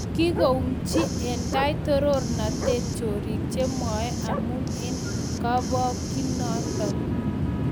King'ung'unchi en tai toronatet "Chorik che moiywei" amun en kobokyinonoton